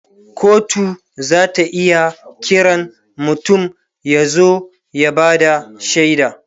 kotu zata iya Kiran mutum ya zo ya Bada shaida